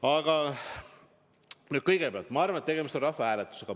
Aga kõigepealt ma arvan, et tegemist on rahvahääletusega.